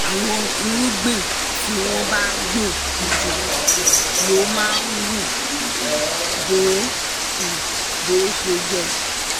àwọn irúgbìn tí wọ́n gbìn jìn jù lè má hù bó hù bó ṣe yẹ